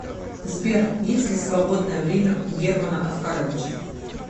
сбер есть ли свободное время у германа оскаровича